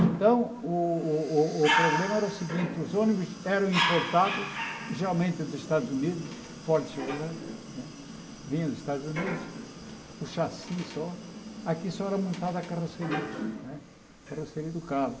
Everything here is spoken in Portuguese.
Então, o o o o problema era o seguinte, os ônibus eram importados, geralmente dos Estados Unidos, Ford Chevrolet né, vinham dos Estados Unidos, o chassi só, aqui só era montada a carroceria né, a carroceria do carro.